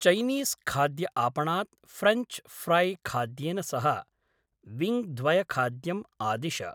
चैनीस्खाद्यआपणात् French फ़्रैखाद्येन सह विङ्ग्द्वयखाद्यम् आदिश।